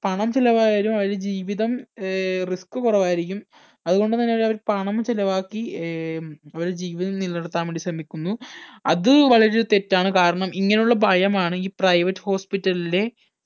പണം ചിലവായാലും അവര് ജീവിതം ഏർ risk കൊറവായിരിക്കും അത് കൊണ്ട് തന്നെ അവർ പണം ചിലവാക്കി ഏർ അവര് ജീവിതം നിലനിർത്താൻ വേണ്ടി ശ്രമിക്കുന്നു അത് വളരെ തെറ്റാണ് കാരണം ഇങ്ങനെ ഉള്ള ഭയം ആണ് ഈ private hospital ലെ